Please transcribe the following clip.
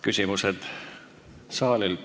Küsimused saalilt.